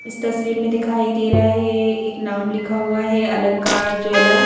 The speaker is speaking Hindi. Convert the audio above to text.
इस तस्वीर में दिखाई दे रहा है एक नाम लिखा हुआ है अलंकार ज्वेलर --